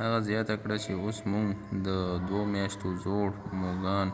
هغه زیاته کړه چې اوس موږ د ۴ میاشتو زوړ موږکان